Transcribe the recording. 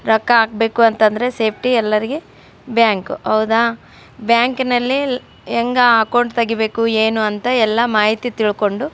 ರೊಕ್ಕ ಹಾಕ್ಬೇಕು ಅಂತಂದ್ರೆ ಸೇಫ್ಟಿ ಎಲ್ಲರಿಗೆ ಬ್ಯಾಂಕ್ ಹೌದ ಬ್ಯಾಂಕ್ ಲ್ಲಿ ಹೆಂಗ ಅಕೌಂಟ್ ತೆಗೀಬೇಕು ಏನು ಅಂತ ಎಲ್ಲ ಮಾಹಿತಿ ತಿಳ್ಕೊಂಡು --